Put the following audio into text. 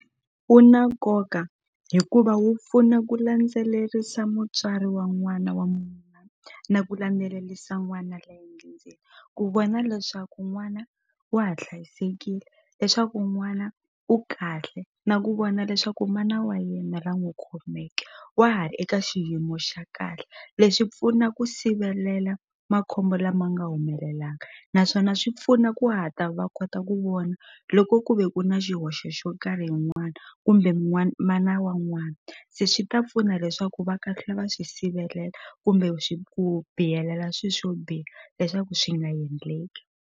Wu na nkoka hikuva wu pfuna ku landzelerisa mutswari wa n'wana wa na ku landzelelisa n'wana ku vona leswaku n'wana wa ha hlayisekile leswaku n'wana u kahle na ku vona leswaku mana wa yena la n'wu khomeke wa ha ri eka xiyimo xa kahle leswi pfuna ku sivelela makhombo lama nga humelelaka naswona swi pfuna ku hatla va kota ku vona loko ku ve ku na xihoxo xo karhi hi n'wana kumbe mana wa n'wana se swi ta pfuna leswaku va kahlula va swi sivelela kumbe ku biyelela swi swo biha leswaku swi nga endleki.